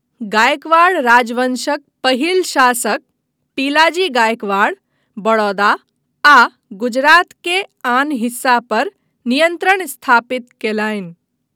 गायकवाड़ राजवंशक पहिल शासक पिलाजी गायकवाड़ बड़ौदा आ गुजरात के आन हिस्सा पर नियन्त्रण स्थापित कयलनि।